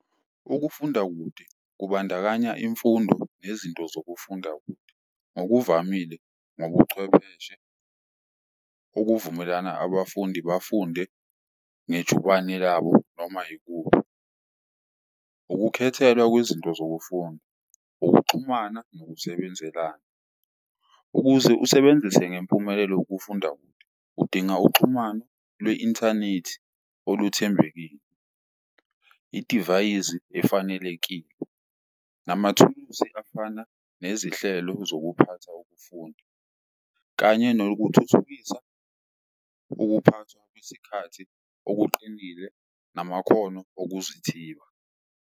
Ukufunda kude kubandakanya imfundo nezinto zokufunda kude ngokuvamile ngobuchwepheshe okuvumelana abafundi bafunde ngejubane labo noma ikuphi. Ukukhethelwa kwezinto zokufunda, ukuxhumana nokusebenzelana, ukuze usebenzise ngempumelelo ukufunda kude udinga uxhumano lwe-inthanethi oluthembekile, idivayizi efanelekile, namathuluzi afana nezihlelo zokuphatha ukufunda. Kanye nokuthuthukisa ukuphathwa kwesikhathi okuqinile namakhono okuzothiba.